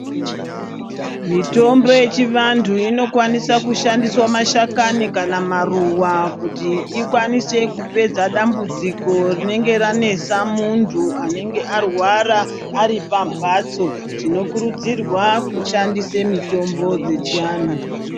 Mitombo yechivanthu inokwanisa kushandiswa mashakani kana maruva kuti ikwanise kupedza dambudziko rinenge ranesa munthu anenge arwara ari pambatso tinokurudzirwa kushandisa mitombo dzechianthu.